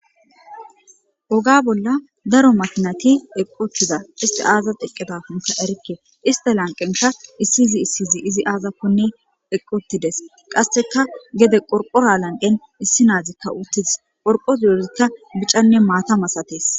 Oga bolla daro makinati eqqottida isti aaza eqqidafunka erikke ista lanqenka issi izi issiyzi izi aazakkonne eqqotides qasseka gede qorqora lanqen issi naazikka uttidis qorqos yorizikka bicanne maata masatees